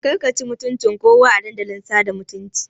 Ƙarka ci mutuncin kowa a Dandalin sada zumunta.